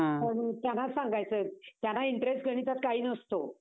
थोडं त्यांना सांगायचं. त्यांना interest गणितात काही नसतो.